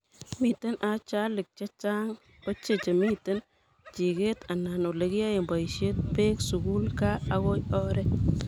miten ajalik chechang ochei chemiten chiket, anan olegiyae boishet, beek, sugul, gaa ago oret